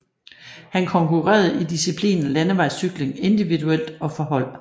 Han konkurrerede i diciplinen Landevejscykling individuelt og for hold